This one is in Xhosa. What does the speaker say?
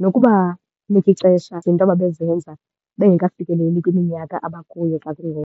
nokubanika ixesha izinto ababezenza bengekafikeleli kwiminyaka abakuyo xa kungoku.